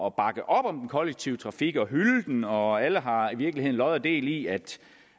at bakke op om den kollektive trafik og hylde den og alle har i virkeligheden lod og del i at